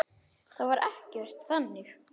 Það var ekkert þannig.